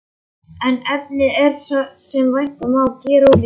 En efnið er, sem vænta má, gerólíkt.